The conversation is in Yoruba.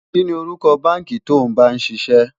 kí ní orúkọ bánkì to bá ń síse?